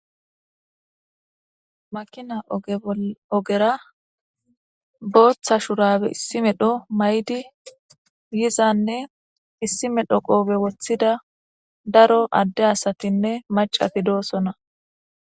Makina ogera booththa shurabe issi medho may'di yizanne issi medho qoobe woththida daro adde asatinne macati dosona